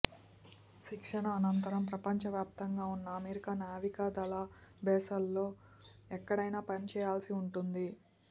శిక్షణ అనంతరం ప్రపంచవ్యాప్తంగా ఉన్న అమెరికా నావికా దళ బేస్లలో ఎక్కడైనా పని చేయాల్సి ఉంటుంది